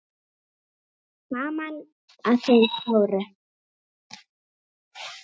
Gaman að þeim stóru.